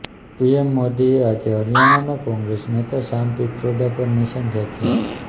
PM મોદીએ આજે હરિયાણામાં કોંગ્રેસ નેતા સામ પિત્રોડા પર નિશાન સાધ્યું